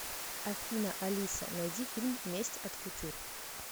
афина алиса найди фильм месть от кутюр